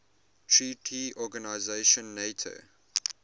treaty organization nato